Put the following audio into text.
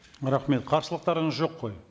рахмет қарсылықтарыңыз жоқ қой